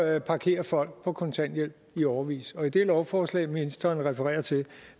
at parkere folk på kontanthjælp i årevis og i det lovforslag ministeren refererer til er